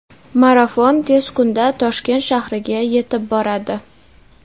marafon tez kunda Toshkent shahriga yetib boradi.